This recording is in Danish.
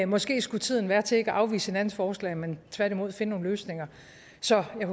måske kunne tiden være inde til ikke at afvise hinandens forslag men tværtimod finde nogle løsninger så jeg